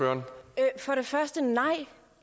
er